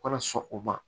Kana sɔn o ma